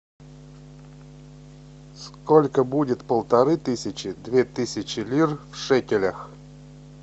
сколько будет полторы тысячи две тысячи лир в шекелях